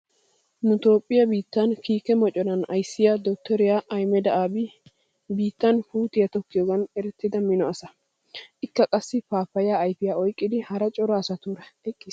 Nu toophphiya biittan kiike moconan ayssiya dottoriya Ahimeda Abi biittan puutiya tokkiyoogan erettida mino asa. Ikka qassi paappaya ayfiya oyqqidi hara cora asatuura eqqiis.